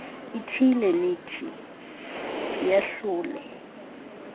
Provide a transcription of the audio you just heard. ithile nethi iyahlule